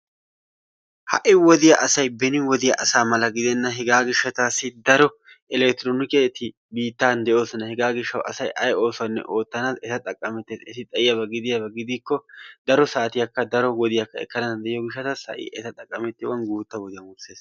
Ha'i wodiya asay beni wodiyaa asaa mala gidenna. Hegaa gishshataasi daro electronikketi biittaa de'oosona. Heegaa gishawu asay ay oosuwanne oottanawu eta xaqamettees. Eti xayiiyaba gidikko daro saatiyaakka daro wodiya ekkana dandayiyoo gishshatas ha'i eta xaqqamettiyoogan guuttaa wodiyan wurssees.